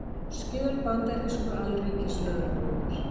Skjöl bandarísku Alríkislögreglunnar